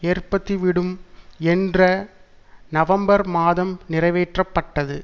ஏற்படுத்திவிடும் என்று நவம்பர் மாதம் நிறைவேற்றப்பட்டது